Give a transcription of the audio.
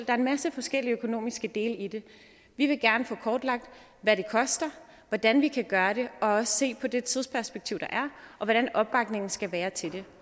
er en masse forskellige økonomiske dele i det vi vil gerne få kortlagt hvad det koster hvordan vi kan gøre det og også se på det tidsperspektiv der er og hvordan opbakningen skal være til det